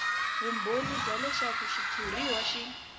vumbhoni bya leswaku xitshuriwa xi